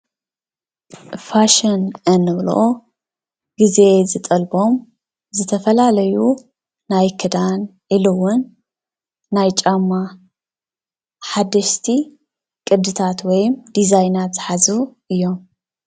ፋሽን እንብሎ ግዜ ዝጠልቦም ዝተፈላለዩ ናይ ክዳን ኢሉውን፣ ናይ ጫማ ሓደሽቲ ቅድታት ወይም ዲዛይናት ዝሓዙ እዮም፡፡